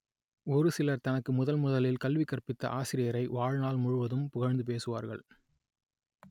ஒரு சிலர் தனக்கு முதன் முதலில் கல்வி கற்பித்த ஆசிரியரை வாழ்நாள் முழுவதும் புகழ்ந்து பேசுவார்கள்